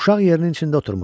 Uşaq yerinin içində oturmuşdu.